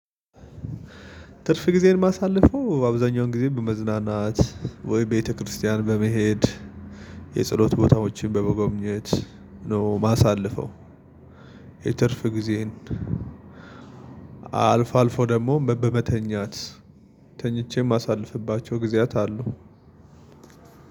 ትርፍ ጊዜዬን ማሳለፈው አብዛኛውን ጊዜ በመዝናናት ወይ ቤተክርስቲያን በመሄድ የጸሎት ቦታዎችን በመጎብኘት ነው የማሳልፈው። የትርፍ ጊዜዬን አልፋ አልፎ ደግሞ በመተኛት ተኝቼም ማሳልፍባቸው ጊዜያት አሉ።